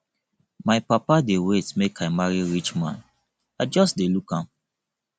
my papa dey wait make i marry rich man i just dey look am